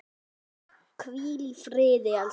Hvíl í friði, elskan!